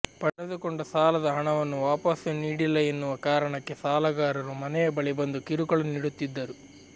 ಪಡೆದುಕೊಂಡ ಸಾಲದ ಹಣವನ್ನು ವಾಪಸ್ಸು ನೀಡಿಲ್ಲ ಎನ್ನುವ ಕಾರಣಕ್ಕೆ ಸಾಲಗಾರರು ಮನೆಯ ಬಳಿ ಬಂದು ಕಿರುಕುಳ ನೀಡುತ್ತಿದ್ದರು